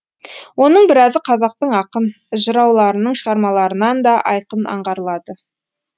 оның біразы қазақтың ақын жырауларының шығармаларынан да айқын аңғарылады